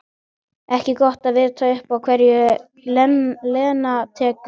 Ekki gott að vita upp á hverju Lena tekur.